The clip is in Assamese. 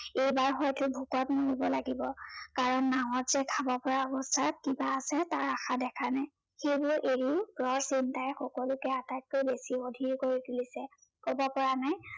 এইবাৰ হয়টো ভূকত মৰিব লাগিব কাৰন নাৱত যে খাব পৰা অৱস্থাত কিবা আছে তাৰ আশা দেখা নাই ।সেইবোৰ এৰি ঘৰৰ চিন্তাই সকলোকে আটাইতকৈ অধিৰ কৰি তুলিছে ।কব পৰা নাই